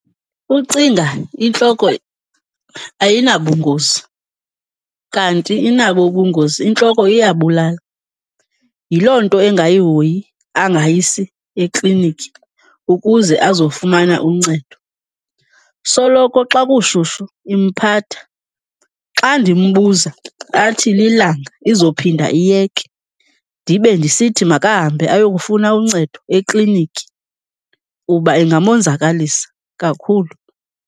Ucinga intloko ayinabungozi kanti inabo ubungozi, intloko iyabulala. Yiloo nto engayihoyi, angayisi eklinikhi ukuze azofumana uncedo. Soloko xa kushushu imphatha, xa ndimbuza athi, lilanga, izophinda iyeke. Ndibe ndisithi makahambe ayokufuna uncedo eklinikhi kuba ingamonzakalisa kakhulu.